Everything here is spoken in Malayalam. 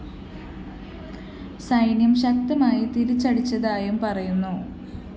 സൈന്യം ശക്തമായി തിരിച്ചടിച്ചതായും പറയുന്നു